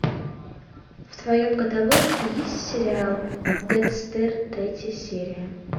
в твоем каталоге есть сериал декстер третья серия